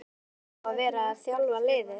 Eiga þeir þá að vera að þjálfa liðið?